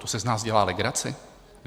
To si z nás dělá legraci?